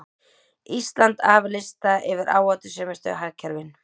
Ísland af lista yfir áhættusömustu hagkerfin